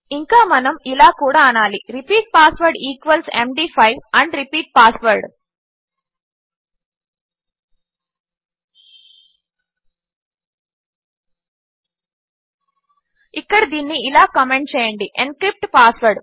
ఇంకా మనము ఇలా కూడా అనాలి repeat password equals MD five and repeat password ఇక్కడ దీనిని ఇలా కామెంట్ చేయండి ఎన్క్రిప్ట్ పాస్వర్డ్